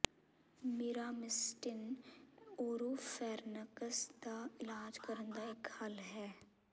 Miramistin oropharynx ਦਾ ਇਲਾਜ ਕਰਨ ਦਾ ਇੱਕ ਹੱਲ ਹੈ